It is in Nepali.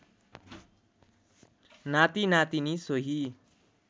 नाति नातिनी सोही